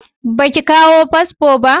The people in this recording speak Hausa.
Ba ki kawo fasfo ba?